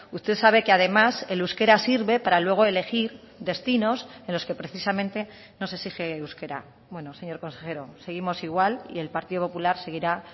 usted sabe que además el euskera sirve para luego elegir destinos en los que precisamente no se exige euskera bueno señor consejero seguimos igual y el partido popular seguirá